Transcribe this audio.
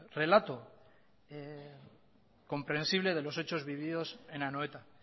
relato comprensible de los hechos vividos en anoeta